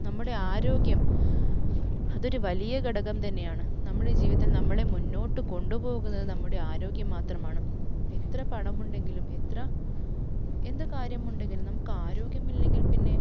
നമ്മുടെ ആരോഗ്യം, അതൊരു വലിയ ഘടകം തന്നെയാണ്. നമ്മുടെ ജീവിതത്തിൽ നമ്മളെ മുന്നോട്ടു കൊണ്ടുപോകുന്നത് നമ്മുടെ ആരോഗ്യം മാത്രമാണ്. എത്ര പണമുണ്ടെങ്കിലും, എത്ര എന്ത് കാര്യമുണ്ടെങ്കിലും നമുക്ക് ആരോഗ്യമില്ലെങ്കിൽ പിന്നെ